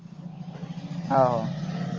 ਆਹੋ